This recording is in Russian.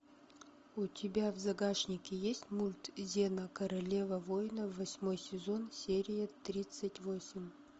у тебя в загашнике есть мульт зена королева воинов восьмой сезон серия тридцать восемь